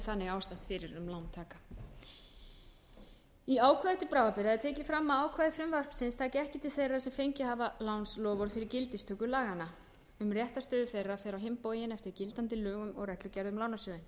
þannig ástatt fyrir um lántaka í ákvæði til bráðabirgða er tekið fram að ákvæði frumvarpsins taki ekki til þeirra sem fengið hafa lánsloforð fyrir gildistöku laganna um réttarstöðu þeirra fer á inn bóginn eftir gildandi lögum og reglugerð um lánasjóðinn